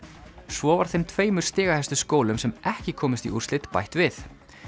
svo var þeim tveimur stigahæstu skólum sem ekki komust í úrslit bætt við